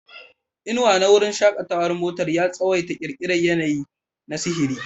Inuwa na wurin shakatawar motar ya tsawaita ƙirƙirar yanayi na sihiri.